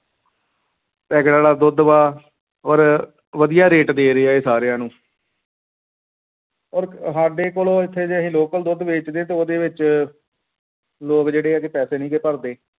packet ਵਾਲਾ ਦੁੱਧ ਵਾ ਔਰ ਵਧੀਆ rate ਦੇ ਰਹੇ ਆ ਇਹ ਸਾਰਿਆਂ ਨੂੰ ਔਰ ਸਾਡੇ ਕੋਲ ਇੱਥੇ ਤੇ ਅਸੀਂ local ਦੁੱਧ ਵੇਚਦੇ ਤੇ ਉਹਦੇ ਵਿੱਚ ਲੋਕ ਜਿਹੜੇ ਆ ਪੈਸੇ ਨਹੀਂ ਗੇ ਭਰਦੇ।